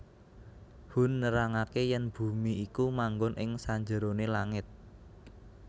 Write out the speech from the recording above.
Hun nerangaké yèn bumi iku manggon ing sanjeroné langit